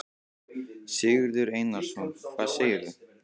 Sigurður Einarsson: Hvað segirðu?